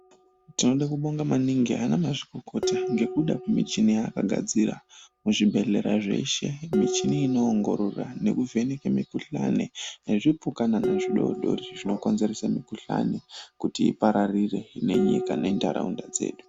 Tinoda kubonga maningi ana mazvikokota ngekuda kwemichini yakagadzira muzvibhehlera zvese. Michini inoongorora nekuvheneke mikhuhlani nezvipukanana zvidodori zvinokonzeresa mikhuhlani kuti ipararire nenyika nentaraunda dzedu.